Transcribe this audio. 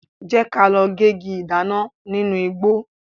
Jẹ́ ka lọ gégi ìdáná nínu igbó.